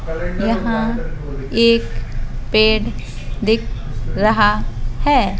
यहां एक पेड़ दिख रहा हैं।